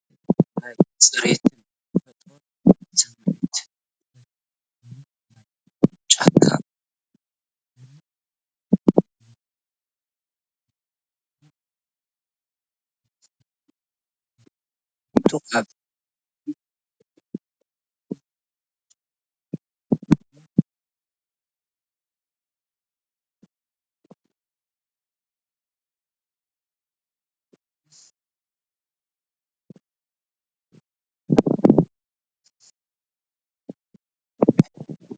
ናይ ጽሬትን ተፈጥሮን ስምዒት ብኽልተ ጥርሙዝ ማይ ጫካ ይግለጽ፣ ኣብ ልዕሊ ጕንዲ ገረብ ዝመስል ቦታ ተቐሚጡ። ኣብ ድሕሪት ዘሎ ድብዝዝ ዝበለ ጫካ ወይ ዱር መልክዓ ስም እቲ ሃይላንድ ዝሰማማዕ እዩ። ምስ ንጽህናን ተፈጥሮን ዘሎ ምትእስሳር የጉልሕ።